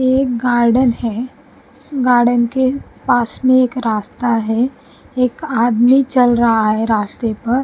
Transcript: एक गार्डन है गार्डन के पास में एक रास्ता है एक आदमी चल रहा है रास्ते पर --